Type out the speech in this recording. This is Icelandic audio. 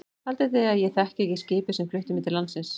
Haldið þið að ég þekki ekki skipið sem flutti mig til landsins.